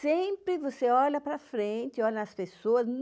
Sempre você olha para frente, olha nas pessoas.